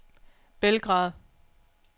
Belgrad